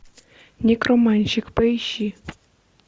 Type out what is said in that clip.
некроманщик поищи